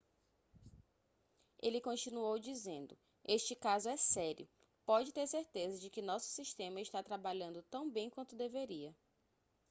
ele continuou dizendo este caso é sério pode ter certeza de que nosso sistema está trabalhando tão bem quanto deveria